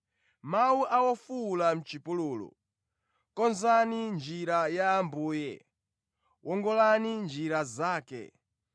“Mawu a wofuwula mʼchipululu, ‘Konzani njira ya Ambuye, wongolani njira zake.’ ”